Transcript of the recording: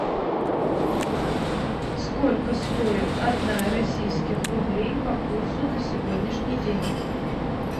сколько стоит одна российских рублей по курсу на сегодняшний день